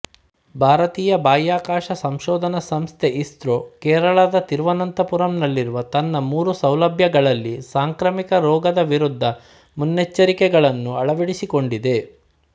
ಭಾರತೀಯ ಬಾಹ್ಯಾಕಾಶ ಸಂಶೋಧನಾ ಸಂಸ್ಥೆ ಇಸ್ರೋ ಕೇರಳದ ತಿರುವನಂತಪುರಂನಲ್ಲಿರುವ ತನ್ನ ಮೂರು ಸೌಲಭ್ಯಗಳಲ್ಲಿ ಸಾಂಕ್ರಾಮಿಕ ರೋಗದ ವಿರುದ್ಧ ಮುನ್ನೆಚ್ಚರಿಕೆಗಳನ್ನು ಅಳವಡಿಸಿಕೊಂಡಿದೆ